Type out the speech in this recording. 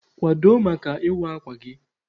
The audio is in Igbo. Kwado maka ịwa akwa gị!